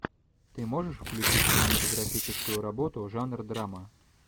ты можешь включить кинематографическую работу жанр драма